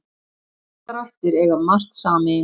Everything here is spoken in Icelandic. Þessar ættir eiga margt sameiginlegt.